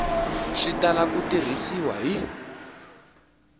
swi tala ku tirhisiwa hi